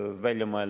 Leo Kunnas, palun!